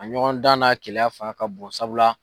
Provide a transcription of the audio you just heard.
A ɲɔgɔn dan n'a keleya fanga ka bon sabula